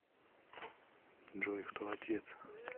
джой кто отец